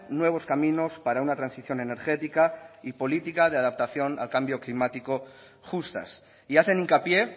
nuevos caminos para una transición energética y política de adaptación al cambio climático justas y hacen hincapié